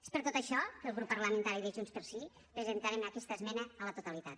és per tot això que el grup parlamentari de junts pel sí presentarem aquesta esmena a la totalitat